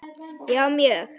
Já mjög